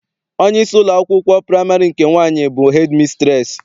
Onyeisi ụlọakwụkwọ praịmarị nke nwaanyị bụ hedịmisitreesị.